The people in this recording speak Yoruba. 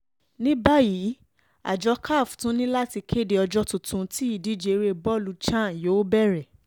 ní báyìí àjọ caf tún ní láti kéde ọjọ́ tuntun tí ìdíje eré bọ́ọ̀lù chan yóò bẹ̀rẹ̀